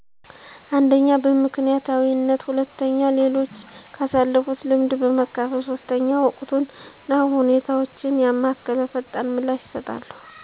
አንደኛ በምክንያታዊነት ሁለተኛ ሌሎች ካሳለፉት ልምድ በመካፈል ሶስተኛ ወቅቱን እና ሁኔታውን ያማከለ ፈጣን ምላሽ እሰጣለሁ።